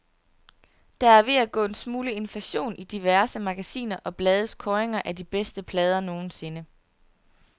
Der er ved at gå en smule inflation i diverse magasiner og blades kåringer af de bedste plader nogensinde.